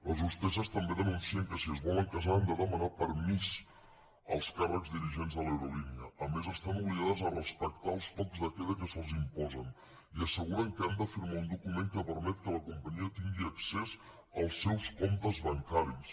les hostesses també denuncien que si es volen casar han de demanar permís als càrrecs dirigents de l’aerolínia a més estan obligades a respectar els tocs de queda que se’ls imposen i asseguren que han de firmar un document que permet que la companyia tingui accés als seus comptes bancaris